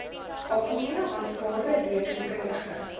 algemene aanvaarde rekeningkundige